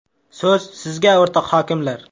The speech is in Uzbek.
So‘z sizga o‘rtoq hokimlar.